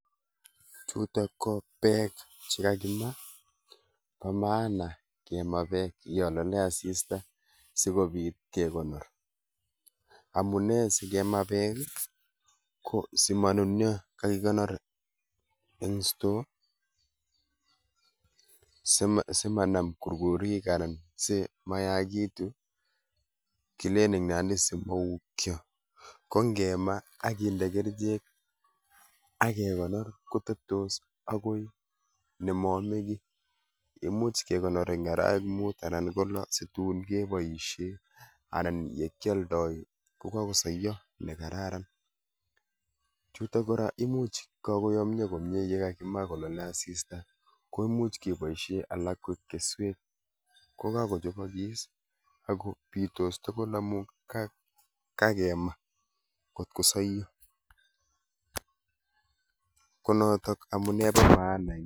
Chuto ko beek chekakimaa, bo maana kemaa beek yo lolei asista sikopit kekonor. Amune sikemaa beek ko simanunio ko kakinor eng store simanam kurkurik anan simayakitu kileen eng nandi simaukio. Ko ngemaa akinde kerichek ake konor koteptos akoi nemaame keiy imuuch kekonor arawek muut anan ko loo situn kepoishe anan ye kialdai ko kakosaiyo ne kararan. Chuto kora komuch kakoyomia komnye yekakimaa kolalei asista komuch kepoishe alak koek keswek, ko kakochopokis ako bitoos tugul amun kakemaa kot ko soiyo, konoto amune bo maana.